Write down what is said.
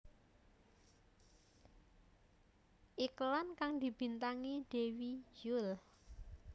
Iklan kang dibintangi Dewi Yull